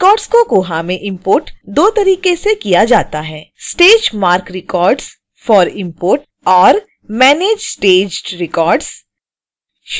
records को koha में import दो तरीके से किया जाता है: